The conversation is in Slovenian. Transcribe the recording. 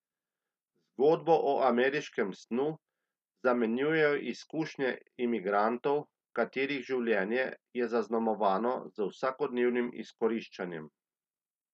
Zgodbo o ameriškem snu zamenjujejo izkušnje imigrantov, katerih življenje je zaznamovano z vsakodnevnim izkoriščanjem.